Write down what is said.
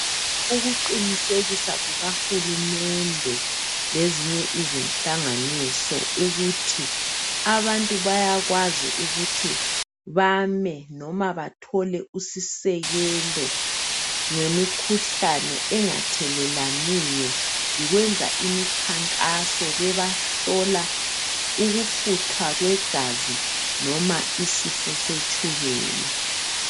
Ukuqinisekisa kukahulumende lezinye izinhlanganiso ukuthi abantu bayakwazi ukuthi bame noma bathole usisekelo ngemikhuhlane engathelelaniyo yikwenza imikhankaso bebahlola ukufutha kwegazi noma isifo setshukela.